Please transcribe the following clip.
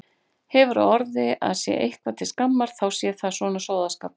Hefur á orði að sé eitthvað til skammar þá sé það svona sóðaskapur.